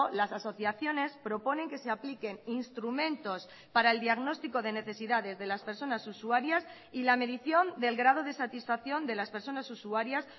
las asociaciones proponen que se apliquen instrumentos para el diagnóstico de necesidades de las personas usuarias y la medición del grado de satisfacción de las personas usuarias